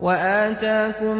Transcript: وَآتَاكُم